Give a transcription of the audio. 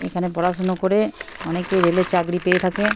এখানে পড়াশোনা করে অনেকেই রেল এর চাকরি পেয়ে থাকে।